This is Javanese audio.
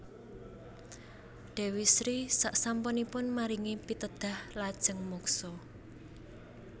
Déwi Sri sasampunipun maringi pitedhah lajeng muksa